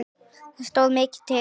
Það stóð mikið til.